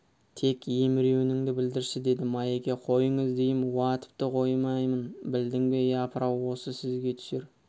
тек емеуірініңді білдірші деді майеке қойыңыз дейім уа тіпті қоймаймын білдің бе япыр-ау осы сізге түсер